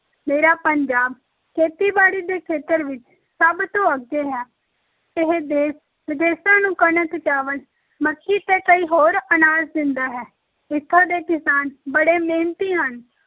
ਮੇਰਾ ਪੰਜਾਬ ਖੇਤੀਬਾੜੀ ਦੇ ਖੇਤਰ ਵਿੱਚ ਸਭ ਤੋਂ ਅੱਗੇ ਹੈ, ਇਹ ਦੇਸ ਵਿਦੇਸਾਂ ਨੂੰ ਕਣਕ, ਚਾਵਲ, ਮੱਕੀ ਤੇ ਕਈ ਹੋਰ ਅਨਾਜ ਦਿੰਦਾ ਹੈ, ਇੱਥੋਂ ਦੇ ਕਿਸਾਨ ਬੜੇ ਮਿਹਨਤੀ ਹਨ।